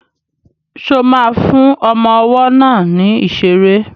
Ṣo ma fún ọmọ ọwọ́ náà ní ìṣeré?